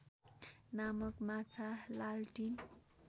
नामक माछा लालटिन